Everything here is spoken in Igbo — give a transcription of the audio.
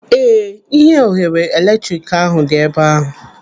Ee, ihe oghere eletrik ahụ dị ebe ahụ.